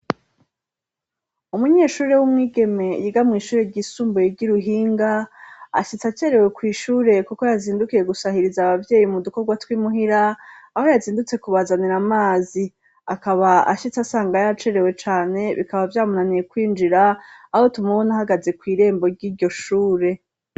Umunyeshuri w'umwigeme yiga mw'ishure ry'isumbuye ry'iruhinga ,ashitse acerewe kw'ishure kuko yazindukiye gusahiriza abavyeyi mu dukorwa tw'imuhira ,aho yazindutse kubazanira amazi ,akaba ashitse asanga ya cerewe cane, bikaba vyamunaniye kwinjira aho tumubona ,ahagaze kw'irembo ry'iryo shure.